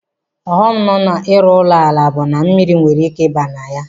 Ọghọm nọ na-ịrụ ụlọ ala bụ na mmiri nwere ike ịba na ya.